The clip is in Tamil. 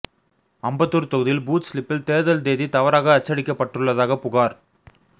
அம்பத்தூர் தொகுதியில் பூத் சிலிப்பில் தேர்தல் தேதி தவறாக அச்சடிக்கப்பட்டுள்ளதாக புகார்